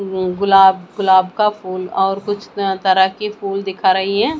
गुलाब गुलाब का फूल और कुछ तरह के फूल दिख रही है।